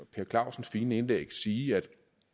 per clausens fine indlæg sige at